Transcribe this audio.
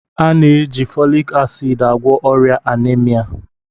A na-eji folic acid agwọ ọrịa anaemia